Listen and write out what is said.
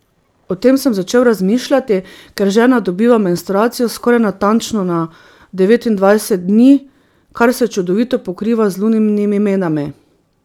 O tem sem začel razmišljati, ker žena dobiva menstruacijo skoraj natančno na devetindvajset dni, kar se čudovito pokriva z luninimi menami.